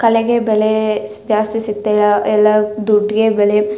ಕಲೆಗೆ ಬೆಲೆ ಜಾಸ್ತಿ ಸಿಕ್ಕತ್ತಿಲ್ಲಾ ಎಲ್ಲಾ ದುಡ್ಗೆ ಬೆಲೆ .